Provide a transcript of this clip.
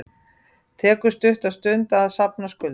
Tekur stutta stund að safna skuldum